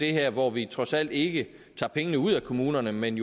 her hvor vi trods alt ikke tager pengene ud af kommunerne men